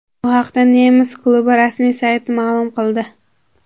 Bu haqda nemis klubi rasmiy sayti ma’lum qildi .